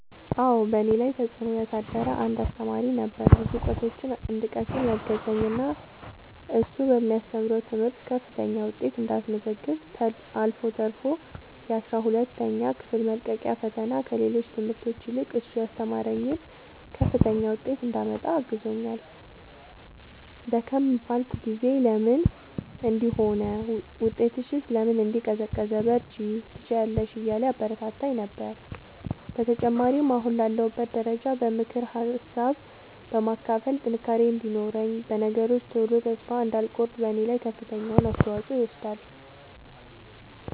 አዎ በእኔ ላይ ተፅእኖ ያሳደረ አንድ አሰተማሪ ነበረ። ብዙ እውቀቶችን እንድቀስም ያገዘኝ እና እሱ በሚያስተምረው ትምህርት ከፍተኛ ውጤት እንዳስመዘግብ አልፎ ተርፎ የአስራ ሁለተኛ ክፍል መልቀቂያ ፈተና ከሌሎች ትምህርቶች ይልቅ እሱ ያስተማረኝን ከፍተኛ ውጤት እንዳመጣ አግዞኛል። ደከም ባልኩ ጊዜ ለምን እንዲህ ሆነ ውጤትሽስ ለምን እንዲህ ቀዘቀዘ በርቺ ትችያለሽ እያለ ያበረታታኝ ነበረ። በተጨማሪም አሁን ላለሁበት ደረጃ በምክር ሀሳብ በማካፈል ጥንካሬ እንዲኖረኝ በነገሮች ቶሎ ተስፋ እንዳልቆርጥ በኔ ላይ ከፍተኛውን አስተዋፅኦ ይወስዳል።